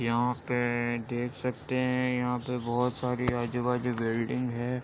यहाँ पे देख सखते है यहाँ पे बोहोत सारी आजू-बाजू बिल्डिंग है।